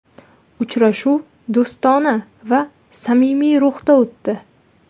Uchrashuv do‘stona va samimiy ruhda o‘tdi.